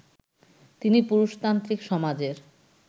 তিনি পুরুষতান্ত্রিক সমাজের